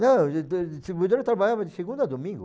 Não, a distribuidora trabalhava de segunda a domingo.